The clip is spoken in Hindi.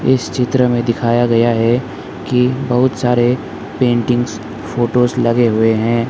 इस चित्र में दिखाया गया है कि बहुत सारे पेंटिंग्स फोटोस लगे हुए हैं।